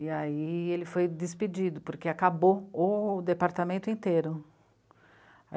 E aí ele foi despedido, porque acabou o departamento inteiro.